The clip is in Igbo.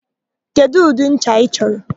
Kedụ ụdị ncha ị chọrọ?